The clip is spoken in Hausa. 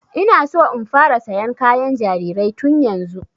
Ina so in fara sayan kayan jarirai tun yanzu